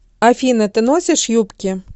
афина ты носишь юбки